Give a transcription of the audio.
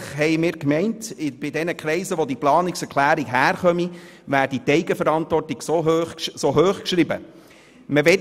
Eigentlich meinten wir, dass in jenen Kreisen, aus welchen diese Planungserklärung stammt, die Eigenverantwortung so gross geschrieben wird.